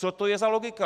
Co to je za logiku?